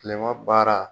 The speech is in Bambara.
Kilema baara